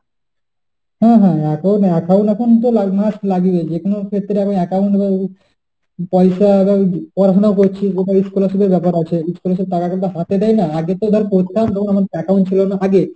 হ্যাঁ হ্যাঁ এখন account এখন তো almost লাগেই। যে কোন ক্ষেত্রে আমি account পয়সা এখন পড়াশোনা করছি তারপরে scholarship এর ব্যাপার আছে। scholarship এর টাকা তো হাতে দেয় না। আগে তো ধর পড়তাম যখন account ছিল না আগে,